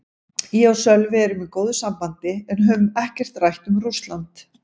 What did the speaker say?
Ég og Sölvi erum í góðu sambandi en höfum ekkert rætt um Rússland.